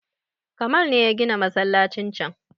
Kamal ne ya gina masallacin can